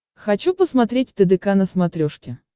хочу посмотреть тдк на смотрешке